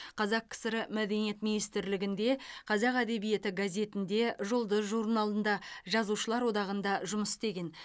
қазақ кср мәдениет министрлігінде қазақ әдебиеті газетінде жұлдыз журналында жазушылар одағында жұмыс істеген